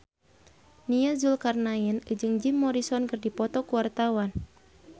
Nia Zulkarnaen jeung Jim Morrison keur dipoto ku wartawan